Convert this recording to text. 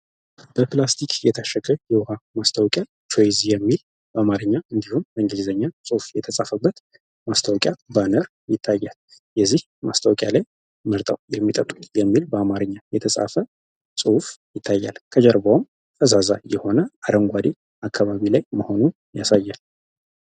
በፕላስቲክ የታሸገ የውሃ ማስታውቂያ ቾይዝ የሚል በማርኛ እንዲሁም በእንገሊዘኛ ፅሑፍ የተጻፈበት ማስተወቂያ በነር ይታያል የዚህ ማስታወቅያ ላይ ምርጠው የሚጠጡት የሚል በአማርኛ የተጻፈ ጽሑፍ ይታያል ከጀርባውም ፈዛዛ የሆነ አረንጓዴ አካባቢ ላይ መሆኑን ያሳያል፡፡